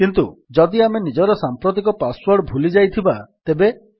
କିନ୍ତୁ ଯଦି ଆମେ ନିଜର ସାମ୍ପ୍ରତିକ ପାସ୍ ୱର୍ଡ ଭୁଲିଯାଇଥିବା ତେବେ